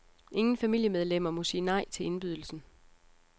Ingen familiemedlemmer må sige nej til indbydelsen.